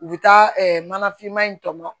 U bɛ taa mana finma in tɔmɔ